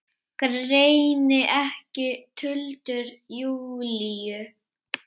Greini ekki tuldur Júlíu.